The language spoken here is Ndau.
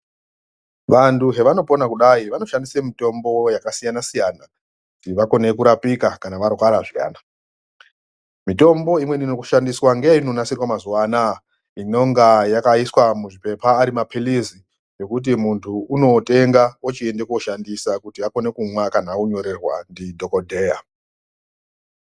Vantu zvavanopona kudai vanoshandisa mitombo yakasiyana-siyana, kuti vakone kurapika kana varwara zviyani. Mitombo imweni inoshandiswa ngeinonasirwa mazuva anaaya inonga yakaiswa muzvipepa ari maphirizi, ekuti muntu unotenga ochiende koshandisa kuti akone kunwa kana anyorerwa ndidhogodheya.